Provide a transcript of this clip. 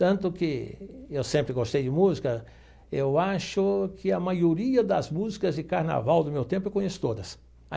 Tanto que eu sempre gostei de música, eu acho que a maioria das músicas de carnaval do meu tempo eu conheço todas.